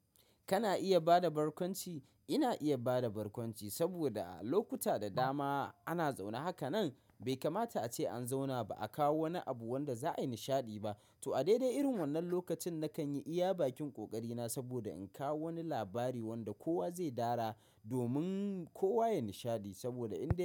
Kana iya bada barkwanci? Ina iya bada barkwanci saboda a lokuta da dama ana zaune. Hakanan bai kamata ace an zauna ba a kawo wani abu wanda za a yi nishadi ba. To a daidai irin wannan lokacin, nakan yi iya bakin ƙoƙari na saboda in kawo wani labari wanda kowa zai dara domin kowa ya yi nishadi saboda ina.